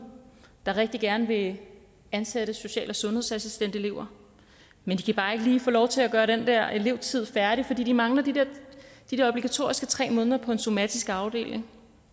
der rigtig gerne vil ansætte social og sundhedsassistentelever men de kan bare ikke lige få lov til at gøre den der elevtid færdig fordi de mangler de de obligatoriske tre måneder på en somatisk afdeling